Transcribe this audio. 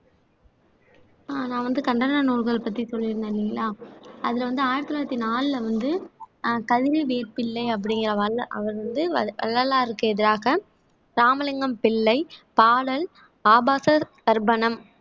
அஹ் நான் வந்து கண்டன நூல்கள் பத்தி சொல்லியிருந்தேன் இல்லைங்களா அதுல வந்து ஆயிரத்தி தொள்ளாயிரத்தி நாலுல வந்து அஹ் கவித வேப்பிள்ளை அப்படிங்கிற வள்ள அவர் வந்து வள்ளலாருக்கு எதிராக ராமலிங்கம் பிள்ளை பாலல் ஆபாசர் தர்ப்பணம்